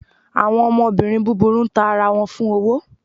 Awọn ọmọbirín búbúrú n tá ará wọn fún owó